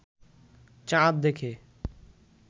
চাঁদ দেখে